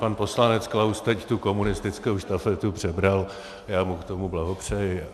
Pan poslanec Klaus teď tu komunistickou štafetu přebral, já mu k tomu blahopřeji.